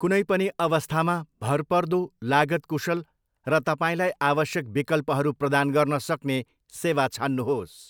कुनै पनि अवस्थामा भरपर्दो, लागत कुशल, र तपाईँलाई आवश्यक विकल्पहरू प्रदान गर्न सक्ने सेवा छान्नुहोस्।